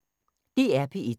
DR P1